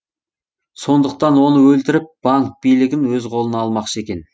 сондықтан оны өлтіріп банк билігін өз қолына алмақшы екен